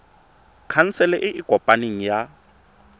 khansele e e kopaneng ya